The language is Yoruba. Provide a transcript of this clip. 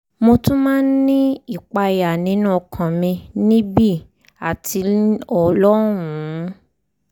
mo tún máa ń ní ìpayà nínú ọkàn mi níbí àti lọ́hùn-ún